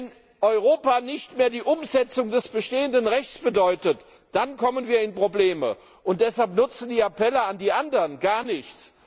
Wenn Europa nicht mehr die Umsetzung des bestehenden Rechts bedeutet, dann kommen wir in Probleme, und deshalb nutzen die Appelle an die anderen gar nichts.